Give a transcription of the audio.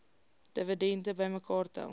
dividende bymekaar tel